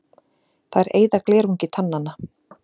Þær eyða glerungi tannanna.